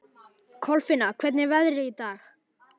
Kolfinna, hvernig er veðrið í dag?